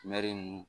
ninnu